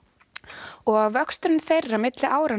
og vöxturinn þeirra milli ára